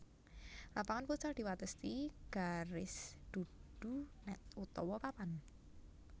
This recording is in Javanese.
Lapangan futsal diwatesi garis dudu nét utawa papan